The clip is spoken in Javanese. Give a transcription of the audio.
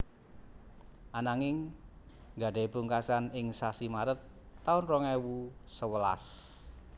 Ananging gadhahi pungkasan ing sasi Maret taun rong ewu sewelas